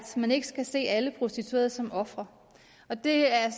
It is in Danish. man ikke skal se alle prostituerede som ofre og det er jeg